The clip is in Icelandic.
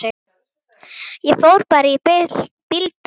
Ég fór bara í bíltúr.